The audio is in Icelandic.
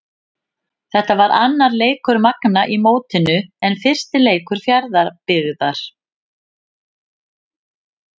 Þetta var annar leikur Magna í mótinu en fyrsti leikur Fjarðabyggðar.